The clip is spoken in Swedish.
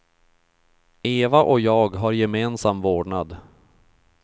Eva och jag har gemensam vårdnad.